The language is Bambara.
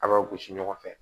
A b'aw gosi ɲɔgɔn fɛ